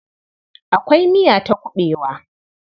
Akwai miya ta kuɓewa.